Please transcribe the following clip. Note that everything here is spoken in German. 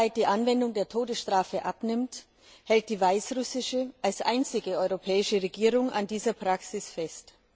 Während weltweit die Anwendung der Todesstrafe abnimmt, hält die weißrussische als einzige europäische Regierung an dieser Praxis fest.